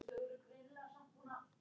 Syngja- læra lög- læra kvæði